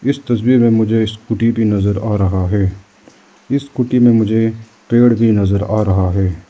इस तस्वीर में मुझे स्कूटी भी नजर आ रहा है इस स्कूटी में मुझे पेड भी नजर आ रहा है।